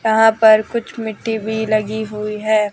यहां पर कुछ मिट्टी भी लगी हुई है।